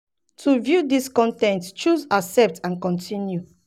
to view dis dis con ten t choose 'accept and continue'.